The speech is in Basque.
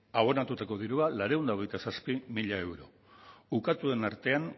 abonatutako dirua laurehun eta hogeita zazpi mila euro ukatuen artean